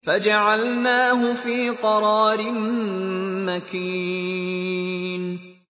فَجَعَلْنَاهُ فِي قَرَارٍ مَّكِينٍ